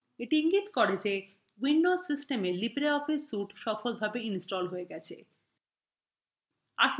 এটি ইঙ্গিত করে যে windows system libreoffice suite সফলভাবে ইনস্টল হয়ে গেছে